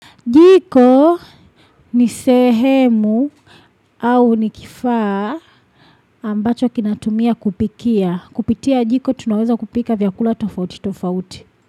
Jiko ni sehemu au ni kifaa ambacho kinatumia kupikia. Kupitia jiko tunaweza kupika vyakula tofauti tofauti.